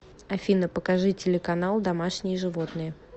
афина покажи телеканал домашние животные